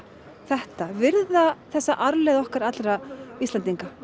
þetta virða þessa arfleifð okkar Íslendinga